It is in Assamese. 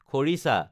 খৰিছা